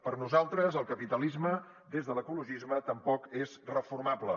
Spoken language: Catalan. per nosaltres el capitalisme des de l’ecologisme tampoc és reformable